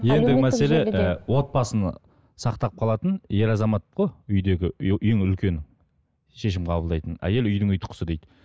ендігі мәселе і отбасын сақтап қалатын ер азамат қой үйдегі ең үлкені шешім қабылдайтын әйел үйдің ұйытқысы дейді